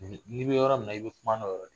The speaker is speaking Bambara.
N'i bɛ yɔrɔ min na i bɛ kuma n'o yɔrɔ de ye